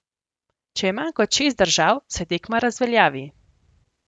Če je manj kot šest držav, se tekma razveljavi.